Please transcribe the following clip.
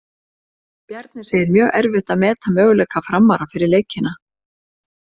Bjarni segir mjög erfitt að meta möguleika Framara fyrir leikina.